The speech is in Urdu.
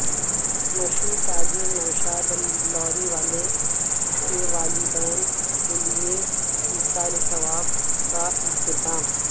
مشہور تاجر نوشاد لاری والے کے والدین کیلئے ایصال ثواب کا اہتمام